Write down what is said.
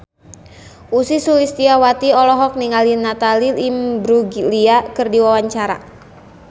Ussy Sulistyawati olohok ningali Natalie Imbruglia keur diwawancara